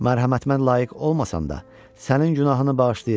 Mərhəmətimə layiq olmasan da, sənin günahını bağışlayıram.